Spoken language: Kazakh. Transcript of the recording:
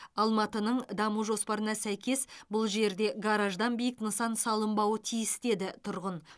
алматының даму жоспарына сәйкес бұл жерде гараждан биік нысан салынбауы тиіс деді тұрғын